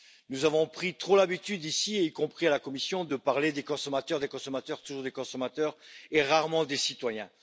Nous avons trop pris l'habitude, ici et à la Commission, de parler des consommateurs, des consommateurs, toujours des consommateurs et rarement des citoyens.